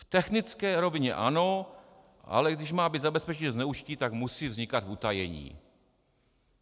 V technické rovině ano, ale když má být zabezpečení zneužití, tak musí vznikat v utajení.